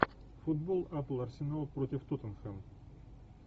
футбол апл арсенал против тоттенхэм